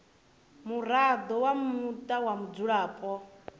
muraḓo wa muṱa wa mudzulapo